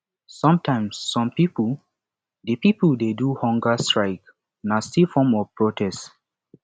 sometimes some pipo de pipo de do hunger strike na still form of protest